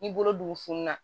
N'i bolo dugu fununa